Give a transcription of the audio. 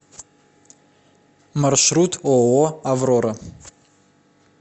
маршрут ооо аврора